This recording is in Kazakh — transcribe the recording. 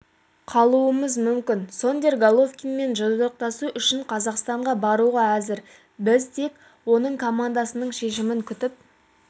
қалуымыз мүмкін сондерс головкинмен жұдырықтасу үшін қазақстанға баруға әзір біз тек оның командасының шешімін күтіп